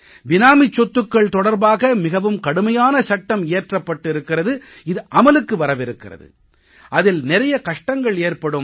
பினாமிச் சொத்துக்கள் தொடர்பாக மிகவும் கடுமையான சட்டம் இயற்றப்பட்டு இருக்கிறது இது அமலுக்கு வரவிருக்கிறது அதில் நிறைய கஷ்டங்கள் ஏற்படும்